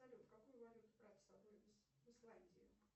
салют какую валюту брать с собой в исландию